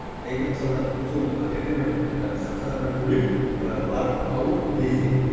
ал егер мысалға сол кт ні ы стационардан бөлек ыыы барып алып лезде